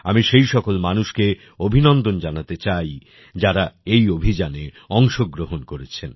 আমি সেই সকল মানুষকে অভিনন্দন জানাতে চাই যারা এই অভিযানে অংশগ্রহণ করেছেন